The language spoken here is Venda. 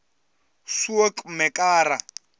soekmekara